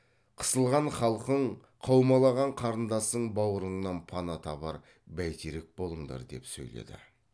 қысылған халқың қаумалаған қарындасың бауырыңнан пана табар бәйтерек болыңдар деп сөйледі